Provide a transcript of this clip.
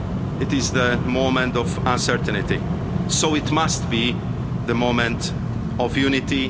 with us. It is a moment of uncertainty, so it must be the moment